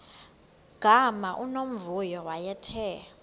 gama unomvuyo wayethe